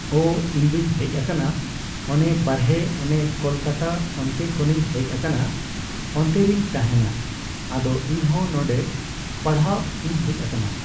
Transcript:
ᱳ ᱤᱧᱫᱩᱧ ᱦᱮᱡ ᱟᱠᱟᱱᱟ ᱚᱱᱮ ᱵᱟᱨᱦᱮ ᱚᱱᱮ ᱠᱚᱞᱠᱟᱛᱟ ᱚᱱᱛᱮ ᱠᱷᱚᱱᱤᱧ ᱦᱮᱡ ᱟᱠᱟᱱᱟ ᱚᱱᱛᱮᱨᱮᱧ ᱛᱟᱦᱮᱱᱟ ᱟᱫᱚ ᱤᱧᱦᱚᱸ ᱱᱚᱰᱮ ᱯᱟᱲᱦᱟᱜ ᱤᱧ ᱦᱮᱡ ᱟᱠᱟᱱᱟ ᱾